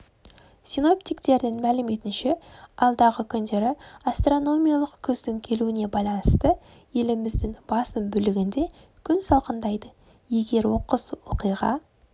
синоптиктердің мәліметінше алдағы күндері астрономиялық күздің келуіне байланысты еліміздің басым бөлігінде күн салқындайды егер оқыс оқиға